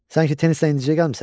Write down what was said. Sanki tennisdən indicə gəlmisən?